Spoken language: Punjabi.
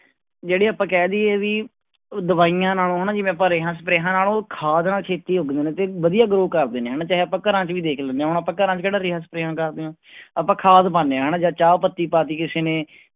ਜਿਹੜੀ ਆਪਾਂ ਕਹਿ ਦੇਈਏ ਵੀ ਦਵਾਈਆਂ ਨਾਲੋਂ ਹਨਾ ਜਿਵੇਂ ਆਪਾਂ ਰੇਹਾਂ ਸਪਰੇਆਂ ਨਾਲੋਂ ਖਾਦ ਨਾਲ ਛੇਤੀ ਉਗਦੇ ਨੇ ਤੇ ਵਧੀਆ grow ਕਰਦੇ ਨੇ ਹਨਾ ਚਾਹੇ ਆਪਾਂ ਘਰਾਂ ਚ ਵੀ ਦੇਖ ਲੈਂਦੇ ਹਾਂ ਹੁਣ ਆਪਾਂ ਘਰਾਂ ਚ ਕਿਹੜਾ ਰੇਹਾਂ ਸਪਰੇਆਂ ਕਰਦੇ ਹਾਂ ਆਪਾਂ ਖਾਦ ਪਾਉਂਦੇ ਹਾਂ ਹਨਾ ਜਾਂ ਚਾਹ ਪੱਤੀ ਪਾ ਦਿੱਤੀ ਕਿਸੇ ਨੇ